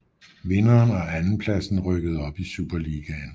Vinderen og andenpladsen rykkede op i Superligaen